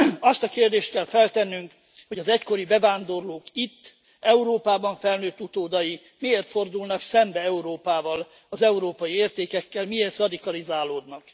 Azt a kérdést kell feltennünk, hogy az egykori bevándorlók itt, Európában felnőtt utódai miért fordulnak szembe Európával, az európai értékekkel, miért radikalizálódnak.